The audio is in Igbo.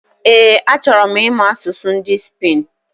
Ee, achọrọ m imu asụsụ ndị Spain